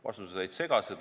Vastused olid segased.